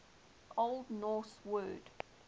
old norse word